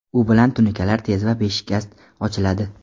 U bilan tunukalar tez va beshikast ochiladi.